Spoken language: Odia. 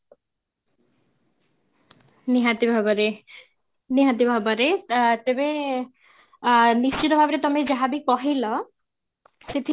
ନିହାତି ଭାବରେ, ନିହାତି ଭାବରେ ତେବେ, ଅଂ ନିଶ୍ଚିତ ଭାବରେ ତମେ ଯାହାବି କହିଲ ସେଥି